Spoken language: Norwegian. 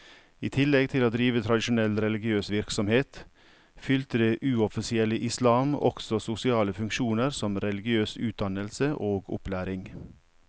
I tillegg til å drive tradisjonell religiøs virksomhet, fylte det uoffisielle islam også sosiale funksjoner som religiøs utdannelse og opplæring.